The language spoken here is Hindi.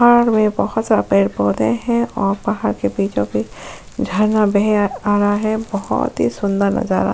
पहाड़ में बहुत सारा पेड़ पौधे हैं और पहाड़ के बीचों बीच झरना बहे आ रहा है बहुत ही सुंदर नजारा --